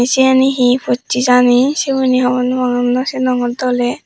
cheni hi pocche jani siguni hi hobor nw pangor nw sinongor doley.